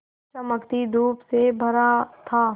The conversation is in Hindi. चमकती धूप से भरा था